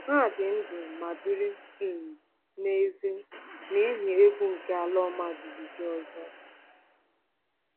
“Ha dị ndụ ma biri um n’èzí n’ihi egwu nke ala ọma jijiji ọzọ.